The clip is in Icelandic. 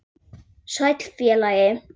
Sæll, félagi